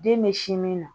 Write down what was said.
Den bɛ sin min na